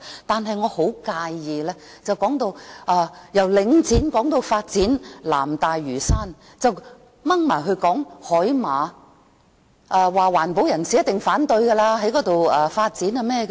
但是，我很介意的是，議員由領展說到發展南大嶼山時，扯到海馬身上，又說環保人士一定反對在那裏發展。